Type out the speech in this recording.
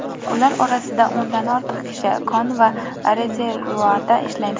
Ular orasida o‘ndan ortiq kishi kon va rezervuarda ishlaydi.